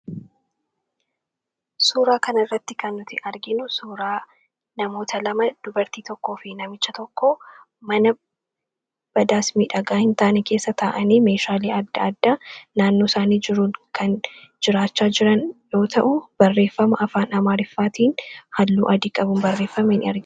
suuraa kan irratti kannuti arginu suuraa namoota lama dubartii tokkoo fi namicha tokko mana badaasmiidhagaa hin taane keessa taa'anii meeshaalii adda adda naannoo isaanii jiruun kan jiraachaa jiran yoo ta'u barreeffama afaan amaariffaatiin halluu adii qabun barreeffameen rge